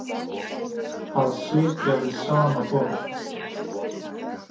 Að sitja við sama borð